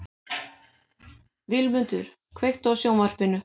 Vilmundur, kveiktu á sjónvarpinu.